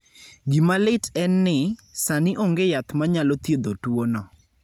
Gima lit en ni, sani onge yath manyalo thiedho tuwono.